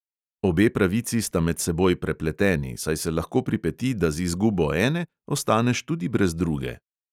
Obe pravici sta med seboj prepleteni, saj se lahko pripeti, da z izgubo ene ostaneš tudi brez druge.